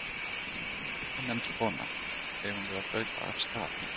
Ónefnd kona: Eigum við að hlaupa af stað?